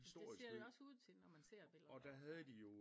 Det ser det jo også ud til når man ser billeder der fra